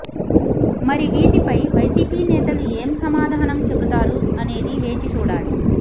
మరి వీటిపై వైసీపీ నేతలు ఏం సమాధానం చెబుతారు అనేది వేచి చూడాలి